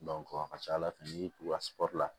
a ka ca ala fɛ n'i tugura sɔri la